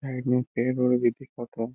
Side में पेड़ उड़ भी दिखाता।